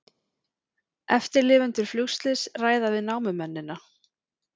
Eftirlifendur flugslyss ræða við námumennina